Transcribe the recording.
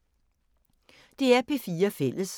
DR P4 Fælles